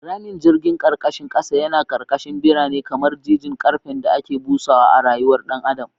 Ramin jirgin karkashin kasa yana karkashin birane, kamar jijin karfen da ke busawa da rayuwar dan adam.